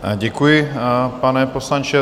Děkuji, pane poslanče.